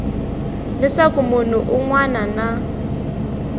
leswaku munhu un wana na